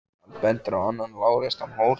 Hann bendir á annan lágreistan hól.